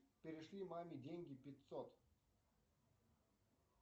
перешли маме деньги пятьсот